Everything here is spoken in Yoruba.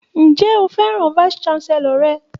Ǹjẹ́ o fẹ́ràn vice chancellor rẹ̀?